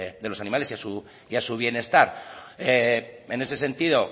de los animales y a su bienestar en ese sentido